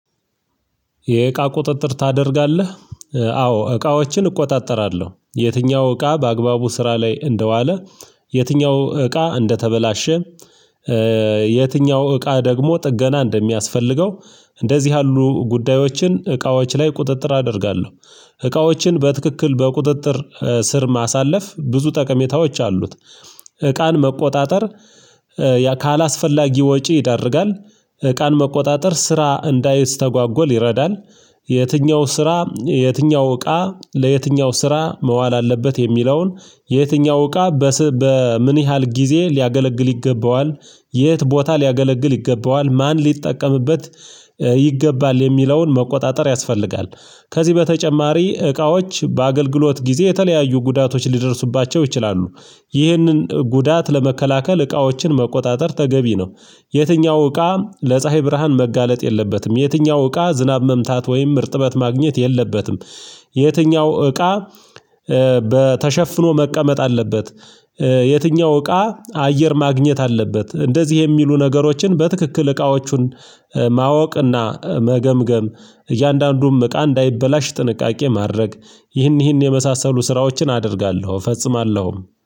የእቃ ቁጥጥር ታደርጋለህ? አዎ እቃዎችን እቆጣጠራለሁ የትኛው እቃ በአግባቡ ስራ ላይ እንደዋለ። የትኛው እቃ እንደተበላሸ። የትኛው እቃ ደግሞ ጥገና እንደሚያስፈልገው። እንደዚህ ያሉ ጉዳዮችን እቃዎች ላይ ቁጥጥር አደርጋለሁ። እቃዎችን በትክክል በቁጥጥር ስር ማሳለፍ ብዙ ጠቀሜታዎች አሉት። እቃን መቆጣጠር ካላስፈላጊ ወጪ ይዳርጋል። እቃን መቆጣጠር ስራ እንዳይስ ተጓጎል ይረዳል። የትኛው ስራ የትኛው እቃ ለየትኛው ስራ መዋል አለበት የሚለውን የትኛው እቃ በምን ያህል ጊዜ ሊያገለግል ይገባዋል የት ቦታ ሊያገለግል ይገባዋል ማን ሊጠቀምበት ይገባል የሚለውን መቆጣጠር ያስፈልጋል። ከዚህ በተጨማሪ እቃዎች በአገልግሎት ጊዜ የተለያዩ ጉዳቶች ሊደርሱባቸው ይችላሉ። ይህንን ጉዳት ለመከላከል እቃዎችን መቆጣጠር ተገቢ ነው። የትኛው እቃ ለፀሀይ ብርሃን መጋለጥ የለበትም። የትኛው እቃ ዝናብ መምታት ወይም ምርጥበት ማግኘት የለበትም። የትኛው እቃ በተሸፍኖ መቀመጥ አለበት። የትኛው እቃ አየር ማግኘት አለበት እንደዚህ የሚሉ ነገሮችን በትክክል እቃዎቹን ማወቅና መገምገም እያንዳንዱም እቃ እንዳይበላሽ ጥንቃቄ ማድረግ። ይህን ይህን የመሳሰሉ ስራዎችን አደርጋለሁ እፈጽማለሁ